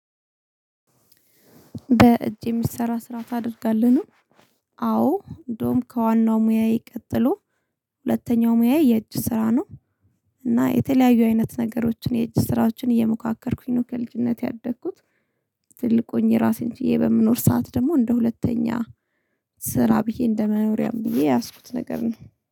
በእጅ የሚሰራ ስራ ታደርጋለህ ነው። አዎ እንደውም ከዋናው ሙያዬ ቀጥሎ ሁለተኛው ሙያዬ የእጅ ስራ ነው። እና የተለያዩ አይነት ነገሮችን የእጅ ስራዎችን እየሞካከርኩኝ ነው ከልጅነቴ ያደግኩት። ትልቁኝ የራሴን ጭዬ በምኖር ሰዓት ደግሞ እንደ ሁለተኛ ስራ ብዬ እንደመኖሪያም ብዬ የያዝኩት ነገር ነው